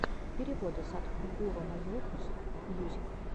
переводы садхгуру майопус мьюзик